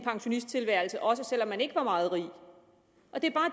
pensionisttilværelse også selv om man ikke var meget rig